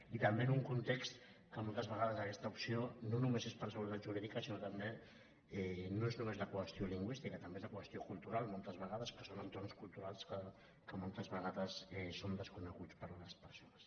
i també en un con·text en què moltes vegades aquesta opció no només és per seguretat jurídica sinó que també no és només la qüestió lingüística també és la qüestió cultural mol·tes vegades que són entorns culturals que moltes ve·gades són desconeguts per les persones